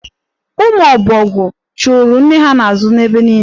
Ụmụ ọbọgwụ chụụrụ nne ha n'azụ ebe niile.